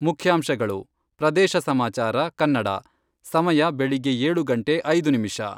ಮುಖ್ಯಾಂಶಗಳು, ಪ್ರದೇಶ ಸಮಾಚಾರ ಕನ್ನಡ, ಸಮಯ ಬೆಳಿಗ್ಗೆ ಏಳು ಗಂಟೆ ಐದು ನಿಮಿಷ.